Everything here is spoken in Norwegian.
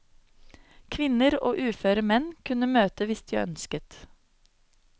Kvinner og uføre menn kunne møte hvis de ønsket.